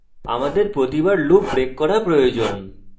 আমাদের প্রতিবার loop break করা প্রয়োজন